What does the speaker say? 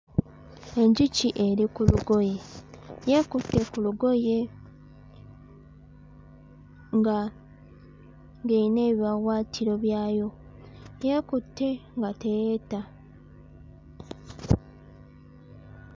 Enjuki eri ku lugoye. Yeekutte ku lugoye. Nga ng'eyina ebiwaawaatiro byayo. Yeekutte nga teyeeta.